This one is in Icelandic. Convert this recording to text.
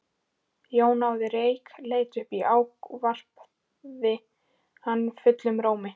Jón náði reyk, leit upp og ávarpaði hann fullum rómi.